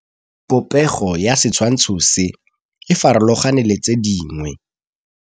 Popêgo ya setshwantshô se, e farologane le tse dingwe.